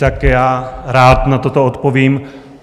Tak já rád na toto odpovím.